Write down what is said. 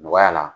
Nɔgɔya la